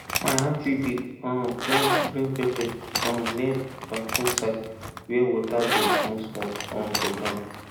my aunty dey um plant green pepper um near bathroom side where water dey smallsmall um for ground